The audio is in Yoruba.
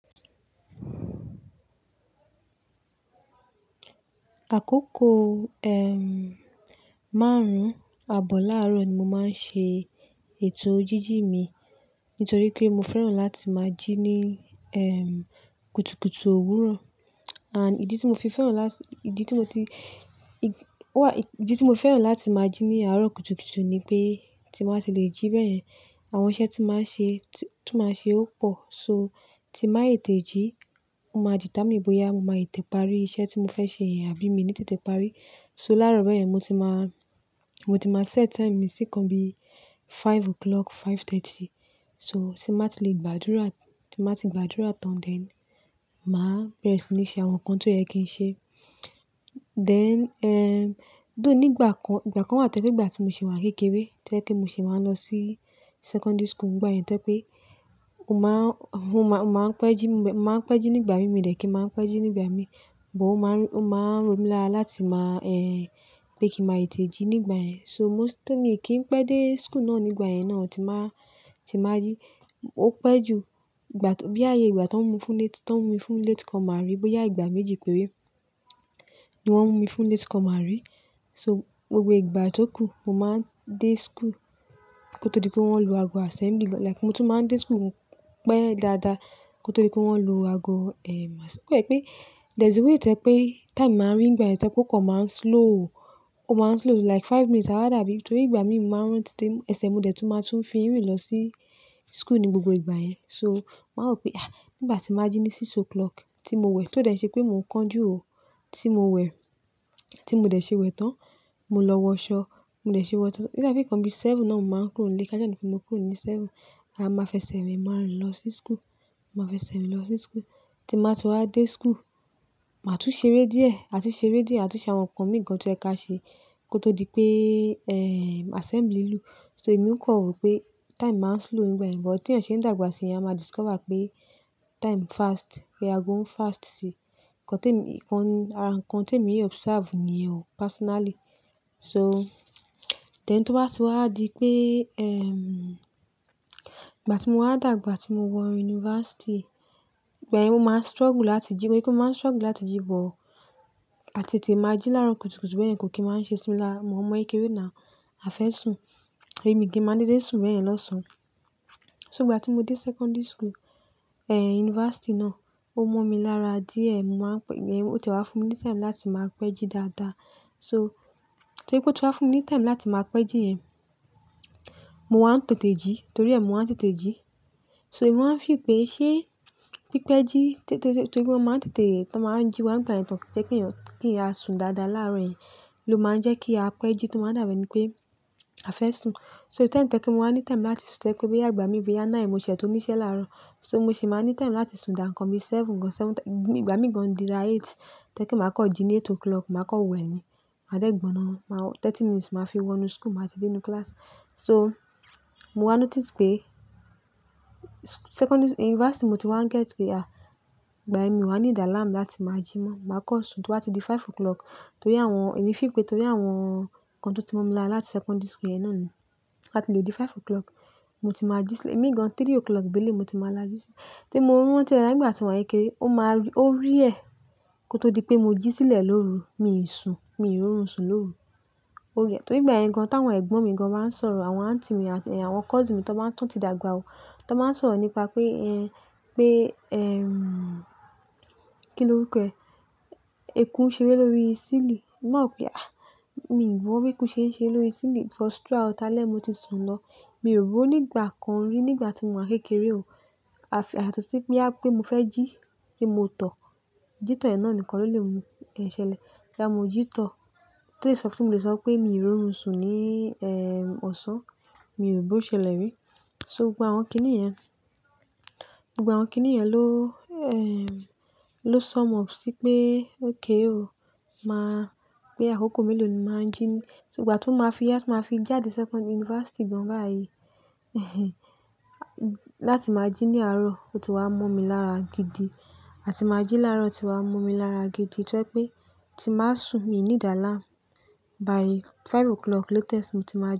Àkókò, ehm, márùn-ún àbọ̀ láàrọ̀ ni mo máa ń ṣe ètò jíjì mi. Nítorí pé mo fẹ́ràn láti máa jí ní, ehm, kùtùkùtù òwúrọ̀. And ìdí tí mo fi fẹ́ràn láti-- ìdí tí mo ti-- id, wà-- ìdí tí mo fẹ́ràn láti máa jí ní àárọ̀ kùtùkùtù ni pé tí mo bá ti lè jí bẹ́ẹ̀ yẹn, àwọn iṣẹ́ tí màá ń ṣe, tí-- tí màá ṣe ó pọ̀. So tí màá ètè jí, o máa determine bóyá mo máa ètè parí iṣẹ́ tí mo fẹ́ ṣe yẹn àbí mi ní tètè parí. So láárọ̀ bẹ́ẹ̀ yẹn, mo ti máa, mo ti máa set time mi sí nǹkan bí five o'clock, five thirty. So tí n má ti lè gbàdúrà, tí n ma ti gbàdúrà tán then màá bẹ̀rẹ̀ sí ní ṣe àwọn nǹkan tó yẹ kí n ṣe. Then, ehm, though nígbà kan, ìgbà kan wà tẹ́lé n gbà tí mo ṣì wà kékeré, tó yẹ pé mo ṣì máa ń lọ sí secondary school n gbà yẹn tó yẹ pé mo máa n, hun mo máa, n máa ń pẹ́ jí n gbe, ń máa ń pẹ́ jí nígbà yẹn mi dé kí máa ń pẹ́ jí nígbà e mi, but ó máa ń r, ó máa ń romi lára láti máa, eh, pé kí màá ètè jí nígbà yẹn. So moṣt though mo kí n pẹ́ dé school náà nígbà yẹn náà, tí màá, tí màá yí. Ó pẹ́ ju gbà k bóyá i yẹ ìgbà tó mú fún late, tó mú mi fún latecomer rí, bóyá ìgbà méjì péré, ni wọ́n mú mi fún latecomer rí. So gbogbo ìgbà tó kù, mo máa ń dé school kó tó di pé wọ́n ń lu ago assembly lọ. Like mo tún máa ń dé school, pẹ́ dáadáa kó tó di pé wọ́n lu ago, ehm, ass. Ó kò yẹ pé there's a way tẹ́ e pé time máa ń rì n gbà yẹn, tẹ́ e pé ó kọ̀ máa ń slow. Ó máa ń slow like five minutes àwádàbí. N torí ìgbà mi mo máa ń rántí de, ẹsẹ̀ mo de tú máa tún fi ń rìn lọ sí school ní gbogbo ìgbà yẹn. So màá wò pé, ah! N gbà tí màá jí ní six o'clock tí mo wẹ̀, tó dẹ́ n ṣe pé mò ń kán jú ò tí mo wẹ̀, tí mo dẹ̀ ṣe wẹ̀ tán. Mo lọ wọṣọ, mo dẹ̀ ṣe wọ tán. O da i ipe nǹkan bí seven náà n máa ń kúrò n ílé. Ká sá ni pé mo kúrò ní seven. A máa fẹsẹ̀ rìn máa rìn lọ sí school. Máa fẹsẹ̀ rìn lọ sí school. Tí màá ti wá dé school, màá tún ṣeré díẹ̀, à tún ṣeré díẹ̀, à tún ṣe àwọn nǹkan mi gan tí ó yẹ ká ṣe kó tó di pé, ehm, assembly lù. So èmi ń kàn rò pé time máa ń slow n gbà yẹn ni, but te èèyàn ṣe ń dàgbà sí, èèyàn a máa discover pé time fast, pé ago ń fast sí i. Ǹnkan tèmi, nǹkan ni, àra nǹkan tèmi observe ni yẹn o, personally. So then tó bá ti wá di pé, ehm, ìgbà tí mo wá dàgbà tí mo wọ university, n gbà yẹn mo máa ń struggle láti jí, mo i pe mo máa ń struggle láti jí but à tètè máa jí láàrọ̀ kùtùkùtù bẹ́ẹ̀ yẹn kò kí máa ń ṣe sí mi lára o mò ọmọ ekérè náà, a fẹ́ sùn, èmi kì n máa n dedé sùn bẹ́ẹ̀ yẹn lọ́sàn-án. So ìgbà tí mo dé secondary school, eh, university náà, ó mọ́ mi lára díẹ̀. Máa ń pẹ́, ẹ̀yìn ó tie wá fún mi ní time láti máa pẹ́ jí dáadáa. So torí pé ó ti wá fún mi ní time láti máa pẹ́ jí yẹn, mo wá ń tètè jí, torí ẹ́ mo wá ń tètè jí. So èmi máa ń feel pé ṣé pípẹ́ jí tẹ́tẹ́, torí o máa ń tètè, tọ máa ń jí wá n gbà yẹn tán kí jẹ́ kí ẹ̀eyan, kí ẹ̀eyan á sùn dáadáa làárín ló máa ń jẹ́ kí a pẹ́ jí. Tó máa ń dá bí e ni pé a fẹ́ sùn. So time tẹ́ kí n mo má ní time láti sùn tẹ́ ẹ́ pé bóyá ìgbà mi bóyá nine mo ṣẹ̀ tọ níṣẹ́ láárọ̀. So mo sì máa ní time láti sùn dà nǹkan bí seven gan-an, seven tí-- ni ìgbà mí gan-an dírà eight tó e pé màá kọ̀ jí ní eight o'clock, màá kọ̀ wẹ̀ ni. Máa dẹ́ gbọná, ma wo, thirty minutes màá fi wọ inú school, màá ti dé inú class. So mo wá n notice pé sch secondary-- university mo ti wá ń get pé, ah! Ìgbà yẹn ni mi o wá need alarm láti máa jí mọ́. Màá kọ́ sùn tó bá ti di five o'clock torí àwọn-- èmi feel pé torí àwọn nǹkan tó ti mọ́ mi lára láti secondary school yẹn náà ni. Bá ti lè jí five o'clock, mo ti máa jí sílẹ̀. E mi gan-an three o'clock gééle mo ti máa la ju sílẹ̀. Tí mo rántí ara n gbà tí mò wa n ẹ́keré, ó máa n r, ó rare kó tó di pé mo jí sílẹ̀ lóru, mi sùn, mi rọrùn sùn lóru. Ó rare. Torí ìgbà yẹn gan-an, tá àwọn ẹ̀gbọ́n mi gan-an bá ń sọ̀rọ̀, àwọn aunty mi àti, eh, àwọn cousin mi tó bá tún ti dàgbà o, tó máa ń sọ̀rọ̀ nípa pé, ehn, pé, ehm, kí ló orúkọ ẹ? Eku iṣe reré lórí sílì. Náà pié, "Ah! Mi mọ̀ bí eku ṣe ń ṣe lórí sílì." cos throughout alẹ́ mo ti sun lọ. Mi ò rò ó ní ìgbà kan rí ní ìgbà tí mò wa ń ẹ́keré o. Àfi à tún ṣì pé a, pé mo fẹ́ jí, pé mo tọ̀. Jí tọ̀ yẹn náà nìkan ló lè mú, i yẹn ṣẹlẹ̀. Bóyá mo jí tọ̀, tó le sọ fún mo lè sọ pé mi ròrun sùn ní, ehm, ọ̀sán, mi ò rò bó ṣẹlẹ̀ rí. So gbogbo àwọn kíní yẹn, gbogbo àwọn kíní yẹn ló, eii, ló sum up sí pé okay o, máa, pé àkókò mélòó ni máa ń jí. So ìgbà tó máa fi yá, tí máa fi jáde secondary-- university gan-an báyìí, láti máa jí ní àárọ̀, ó ti wá mọ́ mi lára gidi. A ti máa jí láárọ̀ ti wá mọ́ mi lára gidi tó yẹ pé tí màá sùn, mi need alarm. By five o'clock latest mo ti máa jí.